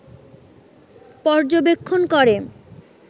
পর্যবেক্ষণ করে